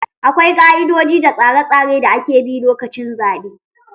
Akwai ƙa"idoji da tsare tsare da ake bi lokacin zaɓe.